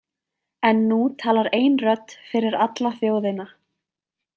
En nú talar ein rödd fyrir alla þjóðina.